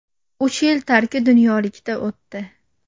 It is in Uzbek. Uch yil tarki dunyolikda o‘tdi.